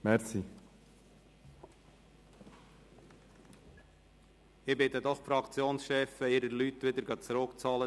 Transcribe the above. Ich bitte die Fraktionschefs, ihre Leute wieder zurückzuholen.